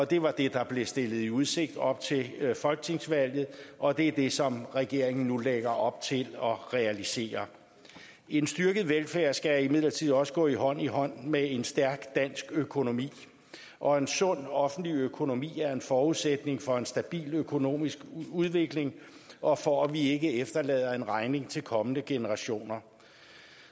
det var det der blev stillet i udsigt op til folketingsvalget og det er det som regeringen nu lægger op til at realisere en styrket velfærd skal imidlertid også gå hånd i hånd med en stærk dansk økonomi og en sund offentlig økonomi er en forudsætning for en stabil økonomisk udvikling og for at vi ikke efterlader en regning til kommende generationer